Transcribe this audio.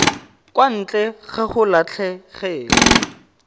kwa ntle ga go latlhegelwa